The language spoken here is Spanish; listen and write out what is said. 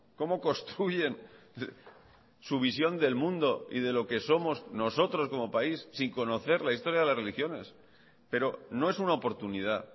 cómo construyen su visión del mundo y de lo que somos nosotros como país sin conocer la historia de las religiones pero no es una oportunidad